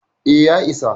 E, ya isa.